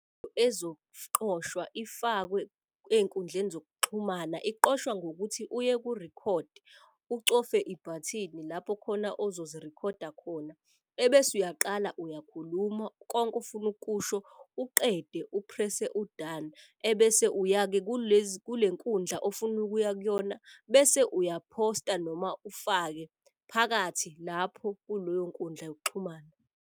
Ifakwe ey'nkundleni zokuxhumana, iqoshwa ngokuthi uye ku-rekhodi, ucofe ibhathini lapho khona ozozirikhoda khona. Ebese uyaqala uyakhuluma konke ofuna ukukusho, uqede uphrese u-done. Ebese uya-ke kule nkundla ofuna ukuya kuyona, bese uyaphosta noma ufake phakathi lapho kuloyo nkundla yokuxhumana.